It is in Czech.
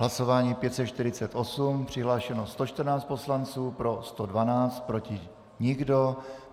Hlasování 548, přihlášeno 114 poslanců, pro 112, proti nikdo.